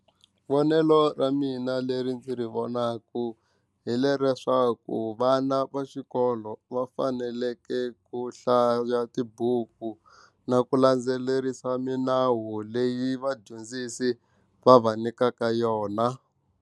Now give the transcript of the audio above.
Vonelo ra mina leri ndzi ri vonaku hileswaku vana va xikolo va fanekele ku hlaya tibuku na ku landzelerisa milawu leyi vadyondzisi va va nyikaka yona.